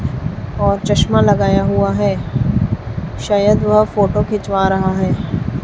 और चश्मा लगाया हुआ है शायद वो फोटो खींचवा रहा है।